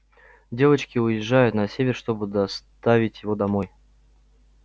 девочки уезжают на север чтобы доставить его домой